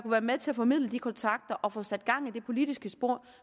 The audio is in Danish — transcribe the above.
være med til at formidle de kontakter og få sat gang i det politiske spor